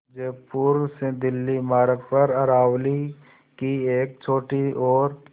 जयपुर से दिल्ली मार्ग पर अरावली की एक छोटी और